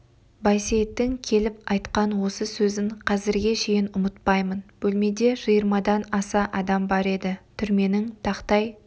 байсейіттің кейіп айтқан осы сөзін қазірге шейін ұмытпаймын бөлмеде жиырмадан аса адам бар еді түрменің тақтай